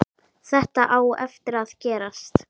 Þetta á eftir að gerast.